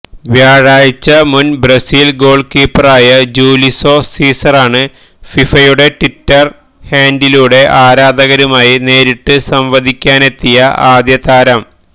വ്യാഴാഴ്ച മുന് Brazil goal കീപ്പറായ ജൂലിസോ സീസറാണ് ഫിഫയുടെ ട്വിറ്റര് ഹാന്ഡിലിലൂടെ ആരാധകരുമായി നേരിട്ട് സംവദിക്കാനെത്തിയ ആദ്യ താരം